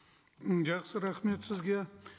м жақсы рахмет сізге